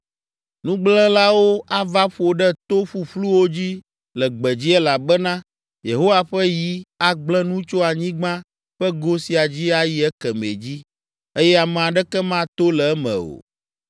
Nugblẽlawo ava ƒo ɖe to ƒuƒluwo dzi le gbedzi elabena Yehowa ƒe yi agblẽ nu tso anyigba ƒe go sia dzi ayi ekemɛ dzi eye ame aɖeke mato le eme o.